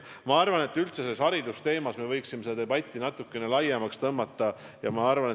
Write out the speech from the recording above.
Ma arvan, et me võiksime üldse haridusteemadel peetavat debatti natukene laiendada.